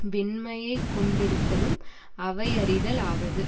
வெண்மையைக் கொண்டிருத்தலும் அவையறிதலாவது